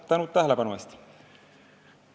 Tänan tähelepanu eest!